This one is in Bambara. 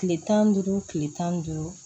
Kile tan ni duuru kile tan ni duuru